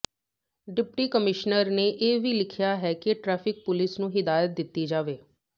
deputy commissioner ਨੇ ਇਹ ਵੀ ਲਿਖਿਆ ਹੈ ਕਿ ਟਰੈਫਿਕ ਪੁਲਿਸ ਨੂੰ ਹਦਾਇਤ ਕੀਤੀ ਜਾਵੇ